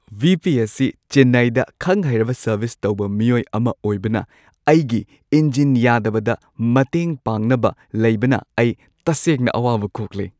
V. P. ꯑꯁꯤ ꯆꯦꯟꯅꯥꯏꯗ ꯈꯪ-ꯍꯩꯔꯕ ꯁꯔꯚꯤꯁ ꯇꯧꯕ ꯃꯤꯑꯣꯏ ꯑꯃ ꯑꯣꯏꯕꯅ ꯑꯩꯒꯤ ꯏꯟꯖꯤꯟ ꯌꯥꯗꯕꯗ ꯃꯇꯦꯡ ꯄꯥꯡꯅꯕ ꯂꯩꯕꯅ ꯑꯩ ꯇꯁꯦꯡꯅ ꯑꯋꯥꯕ ꯀꯣꯛꯂꯦ ꯫